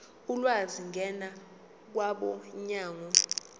ulwazi ngena kwabomnyango